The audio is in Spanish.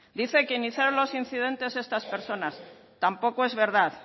dice que iniciaron los incidentes estas personas tampoco es verdad